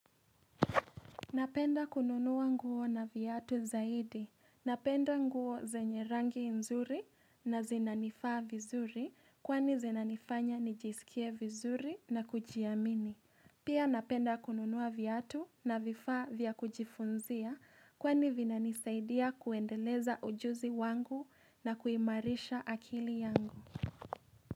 Napenda kununua nguo na viatu zaidi. Napenda nguo zenye rangi nzuri na zinanifaa vizuri kwani zinanifanya nijisikie vizuri na kujiamini. Pia napenda kununua viatu na vifaa vya kujifunzia kwani vinanisaidia kuendeleza ujuzi wangu na kuimarisha akili yangu.